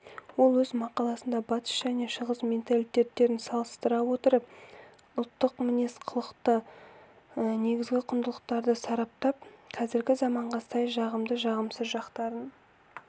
ол өз мақаласында батыс және шығыс менталитеттерін салыстыра отырып ұлттық мінез-құлықтағы негізгі құндылықтарды сараптап қазіргі заманға сай жағымды жағымсыз жақтарын